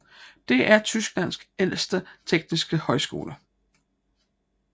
Det er Tysklands ældste tekniske højskole